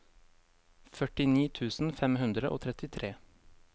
førtini tusen fem hundre og trettitre